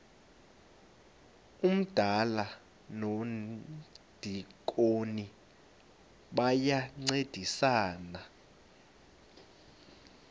umdala nomdikoni bayancedisana